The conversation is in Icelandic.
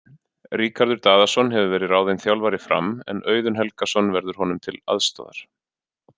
Ríkharður Daðason hefur verið ráðinn þjálfari Fram en Auðun Helgason verður honum til aðstoðar.